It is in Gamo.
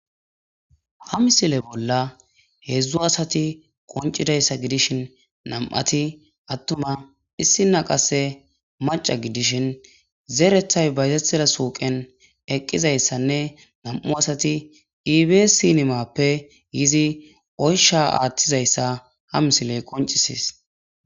Ha misile bolla heedzdzu asati qonccidayssa gidishin nam"ati attuma issi qasse maca gidishin zeerethay bayzetiza suuqen eqqizayssanne nam"u asati iibi sinimappe yizi oysha aaththizayssa ha misile qonccisees.